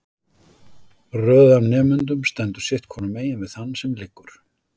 Röð af nemendum stendur sitt hvorumegin við þann sem liggur.